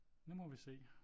Nu må vi se